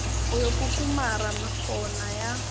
o yo kukumara mekgona ya